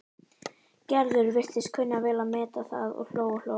Gerður virtist kunna vel að meta þá og hló og hló.